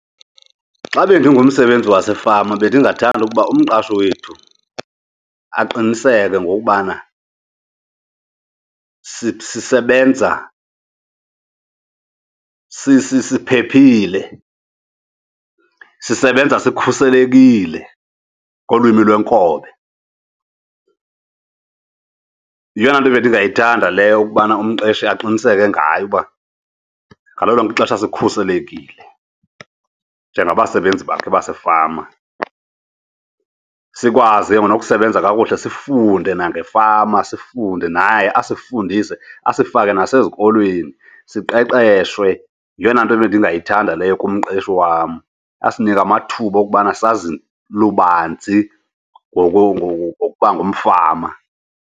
Xa bendingumsebenzi wasefama bendingathanda ukuba umqashi wethu aqiniseke ngokubana sisebenza siphephile, sisebenza sikhuselekile ngolwimi lwenkobe. Yeyona nto bendingayithanda leyo ukubana umqeshi aqiniseke ngayo uba ngalo lonke ixesha sikhuselekile njengabasebenzi bakhe basefama. Sikwazi ke ngoku nokusebenza kakuhle sifunde nangefama, sifunde naye asifundise, asifake nasezikolweni siqeqeshwe. Yeyona nto ebendingayithanda leyo kumqeshi wam, asinike amathuba okubana sazi lubanzi ngokuba ngumfama.